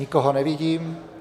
Nikoho nevidím.